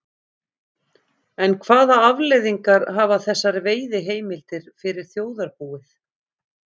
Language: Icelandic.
En hvaða afleiðingar hafa þessar veiðiheimildir fyrir þjóðarbúið?